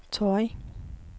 Torrig